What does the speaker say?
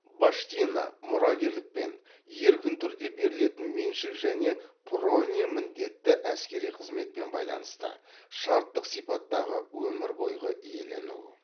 баштина мұрагерлікпен еркін түрде берілетін меншік және прония міндетті әскери қызметпен байланысты шарттық сипаттағы өмір бойғы иелену